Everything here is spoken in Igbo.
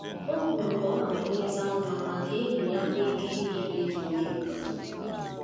O kwuru ka ọ nọdụ leta nwa ma ka enyi ya nwee ike ịga ikpe dị oke mkpa